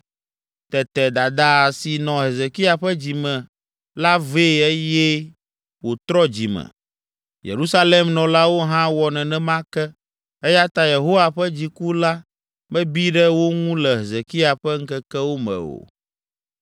Tete dada si nɔ Hezekia ƒe dzi me la vee eye wòtrɔ dzi me. Yerusalem nɔlawo hã wɔ nenema ke, eya ta Yehowa ƒe dziku la mebi ɖe wo ŋu le Hezekia ƒe ŋkekewo me o.